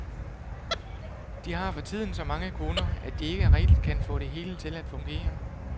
De har for tiden så mange kunder, at de ikke rigtig kan få det hele til at fungere.